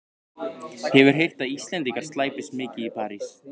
Hefur heyrt að Íslendingar slæpist mikið í París.